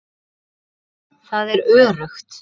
Það er öruggt.